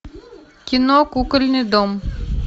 кино кукольный дом